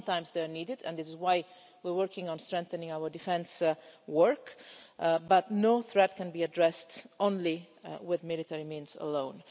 Sometimes it is needed, and this is why we're working on strengthening our defence work, but no threat can be addressed with military means alone.